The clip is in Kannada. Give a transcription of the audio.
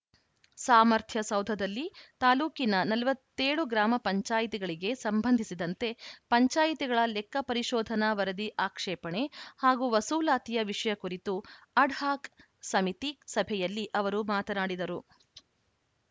ಸಾಮರ್ಥ್ಯ ಸೌಧದಲ್ಲಿ ತಾಲೂಕಿನ ನಲವತ್ತ್ ಏಳು ಗ್ರಾಮ ಪಂಚಾಯತ್ ಗಳಿಗೆ ಸಂಬಂಧಿಸಿದಂತೆ ಪಂಚಾಯಿತಿಗಳ ಲೆಕ್ಕ ಪರಿಶೋಧನಾ ವರದಿ ಆಕ್ಷೇಪಣೆ ಹಾಗೂ ವಸೂಲಾತಿಯ ವಿಷಯ ಕುರಿತು ಅಡ್‌ಹಾಕ್‌ ಸಮಿತಿ ಸಭೆಯಲ್ಲಿ ಅವರು ಮಾತನಾಡಿದರು